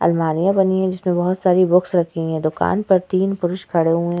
अलमारियां बनी हैं जिसपे बहोत सारी बुक्स रखी हैं। दुकान पर तीन पुरुष खड़े हुए हैं।